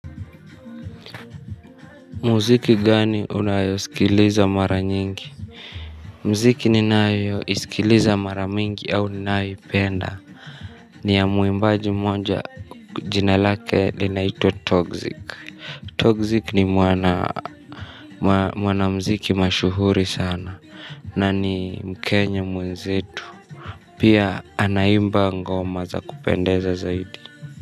Muziki gani unayosikiliza mara nyingi? Muziki ninaayo isikiliza mara mingi au ninayoipenda. Ni ya mwimbaji mmoja jina lake linaitwa toxic Toxic ni mwana mziki mashuhuri sana na ni mkenya mwenzetu. Pia anaimba ngoma za kupendeza zaidi.